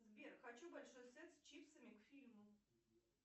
сбер хочу большой сет с чипсами к фильму